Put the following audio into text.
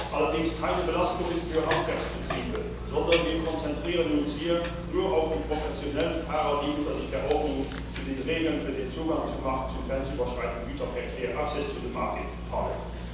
Allerdings keine Belastung für Handwerksbetriebe, sondern wir konzentrieren uns hier nur auf die professionellen Fahrer, die unter die Verordnung zu den Regeln für den Zugang zum Markt zu grenzüberschreitendem Güterverkehr access to the market fallen.